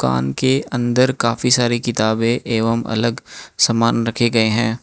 दुकान के अंदर काफी सारे किताबें एवम अलग समान रखे गये हैं।